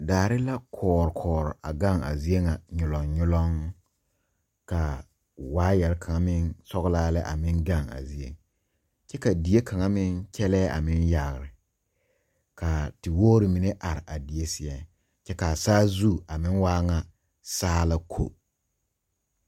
Daare la kɔɔre kɔɔre a gaŋ a zie ŋa nyolong nyolong kaa waayare kaŋ meŋ sɔglaa lɛ a meŋ gaŋ a zieŋ kyɛ ka die kaŋa meŋ kyɛlɛɛ a meŋ yagre kaa te wogre mine are a die seɛ kye kaa saazu a meŋ waa ŋa saa la ko.